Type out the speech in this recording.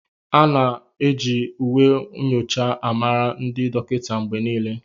A ga-eji uwe nyocha ha mara ndị dọkịta mgbe niile.